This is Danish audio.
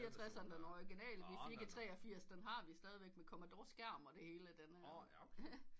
Firetredseren den orginale vi fik i treogfirs den har vi stadig med commodore skærm og det hele